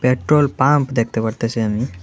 Petrol pump দেখতে পারতাছি আমি।